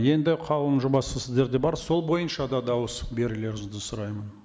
енді қаулының жобасы сіздерде бар сол бойынша да дауыс берулеріңізді сұраймын